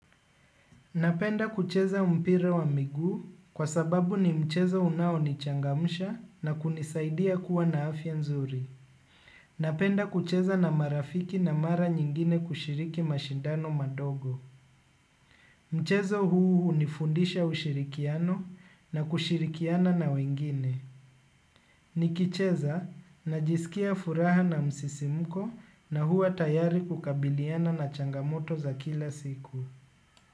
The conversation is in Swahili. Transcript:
Napenda kucheza mpira wa miguu kwa sababu ni mchezo unao nichangamsha na kunisaidia kuwa na afya nzuri. Napenda kucheza na marafiki na mara nyingine kushiriki mashindano madogo. Mchezo huu unifundisha ushirikiano na kushirikiana na wengine. Nikicheza najisikia furaha na msisimuko na huwa tayari kukabiliana na changamoto za kila siku.